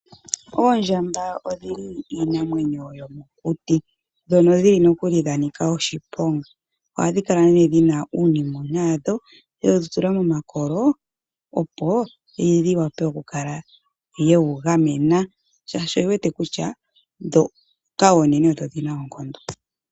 Oondjamba odhili iinamwenyo yomokuti, dhoka dhili nokuli dhanika oshiponga. Ohadhi kala dhina uunimona wadho wedhi tula momakolo, opo dhi vule oku wu gamena, oshoka odhi wete kutya dhoka oonene odho dhina oonkondo.